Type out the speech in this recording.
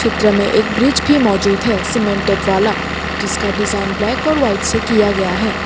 चित्र में एक ब्रिज भी मौजूद है सीमेंटेड वाला जिसका डिजाइन ब्लैक और व्हाइट से किया गया है।